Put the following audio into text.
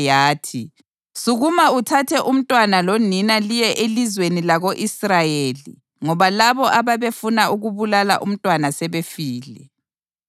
yathi, “Sukuma uthathe umntwana lonina liye elizweni lako-Israyeli ngoba labo ababefuna ukubulala umntwana sebefile.”